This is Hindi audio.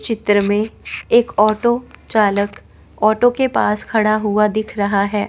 चित्र में एक ऑटो चालक ऑटो के पास खड़ा हुआ दिख रहा है।